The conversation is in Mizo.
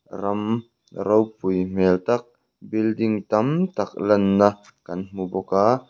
ram ropui hmel tak building tam tak lanna kan hmu bawk a.